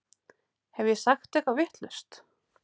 Hef ég sagt eitthvað vitlaust?